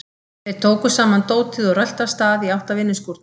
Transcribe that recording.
Þeir tóku saman dótið og röltu af stað í átt að vinnuskúrnum.